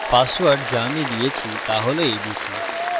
password the আমি দিয়েছি the হল abc